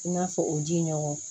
I n'a fɔ o ji ɲɔgɔn